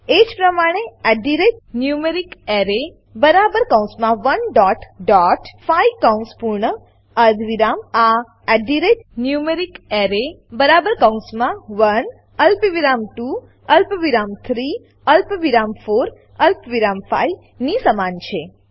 એજ પ્રમાણે numericArray બરાબર કૌંસમાં 1 ડોટ ડોટ 5 કૌંસ પૂર્ણ અર્ધવિરામ આ numericArray બરાબર કૌંસમાં 1 અલ્પવિરામ 2 અલ્પવિરામ 3 અલ્પવિરામ 4 અલ્પવિરામ 5 ની સમાન છે